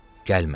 Gəlmədi.